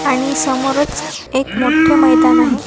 आणि समोरच एक मोठे मैदान आहे.